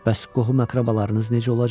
Bəs qohum-əqrəbalarınız necə olacaq?